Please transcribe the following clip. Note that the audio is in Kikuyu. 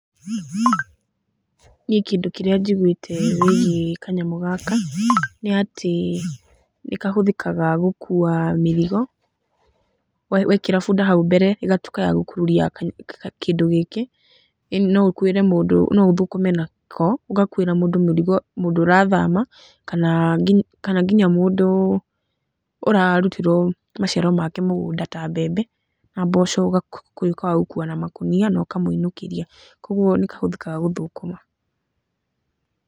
Niĩ kĩndũ kĩrĩa njiguĩte wĩgiĩ kanyamũ gaka nĩ atĩ nĩ kahũthĩkaga gũkua mĩrigo, wekĩra bunda hau mbere ĩgatuĩka ya gũkururia kĩndũ gĩkĩ, no ũkuĩre mũndũ, no ũthũkũme nako, ũgakuĩra mũndũ mĩrigo, mũndũ ũrathama kana nginya mũndũ ũrarutĩrwo maciaro make mũgũnda ta mbembe na mboco ũgatuĩka wa gũkua na makũnia na ũkamũinũkĩria, kũguo nĩ kahũthĩkaga gũthũkũma.